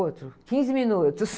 Outro, quinze minutos.